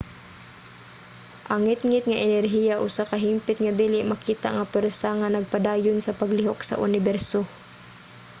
ang ngitngit nga enerhiya usa ka hingpit nga dili makita nga pwersa nga nagpadayon sa paglihok sa uniberso